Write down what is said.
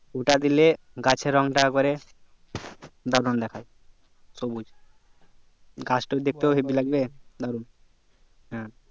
ওটা দিলে গাছের রং তা এক বাড়ে দারুন দেখায় সবুজ গাছ টাও দেখতে হেব্বি লাগবে হ্যাঁ